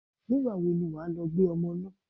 Nígbà wo ni wà á lọ gbé ọmọ náà?